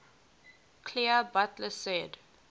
clear butler said